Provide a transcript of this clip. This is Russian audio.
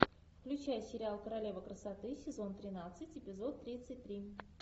включай сериал королева красоты сезон тринадцать эпизод тридцать три